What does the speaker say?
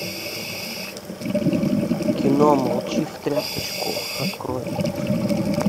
кино молчи в тряпочку открой